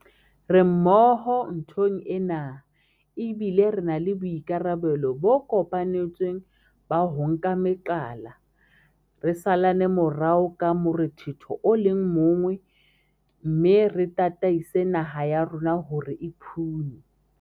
Re mmoho nthong ena, ebile re na le boikarabelo bo kopanetsweng ba ho nka meqala, re salane morao ka morethetho o le mong mme re tataise naha ya rona hore e phunye